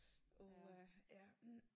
Åh ha ja